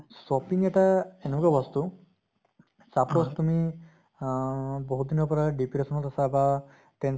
shopping এটা এনেকুৱা বস্তু suppose তুমি আহ বহুত দিনৰ পৰা depression ত আছা বা ten